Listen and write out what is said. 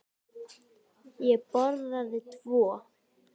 Ég borðaði tvo.